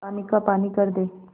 पानी का पानी कर दे